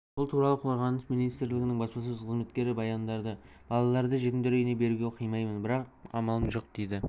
бұл туралы қорғаныс министрлігінің баспасөз қызметі хабарлады балаларымды жетімдер үйіне беруге қимаймын бірақ амалым жоқ дейді